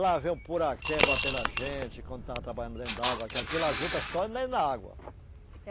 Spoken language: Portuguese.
Lá veio um poraquê bater na gente, quando estava trabalhando dentro d'água, que aquilo a juta só é dentro d'água.